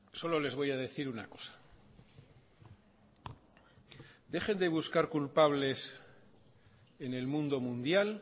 solo les voy a decir una cosa dejen de buscar culpables en el mundo mundial